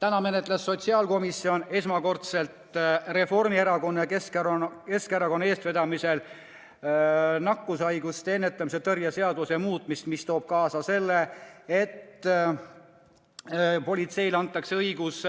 Täna menetles sotsiaalkomisjon esmakordselt Reformierakonna ja Keskerakonna eestvedamisel nakkushaiguste ennetamise ja tõrje seaduse muutmise seadust, mis toob kaasa selle, et politseile antakse õigus